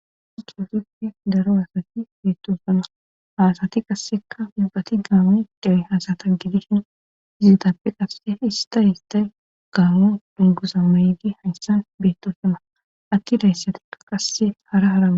di ki gippi daro asati beetto sona haasati qasseka wibbati gaawo dawe hasata gidishin iziditappe qasse ista histay gaawo dungusa maydi hayssan beetto sona atti dayssatika qasse hara harama